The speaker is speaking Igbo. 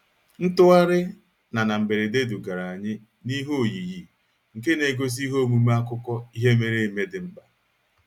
Ntugharị na na mberede dugara anyị n'ihe oyiyi nke na-egosi ihe omume akụkọ ihe mere eme dị mkpa.